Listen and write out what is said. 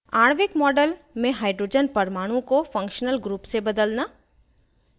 * आणविक model में hydrogen परमाणु को functional group से बदलना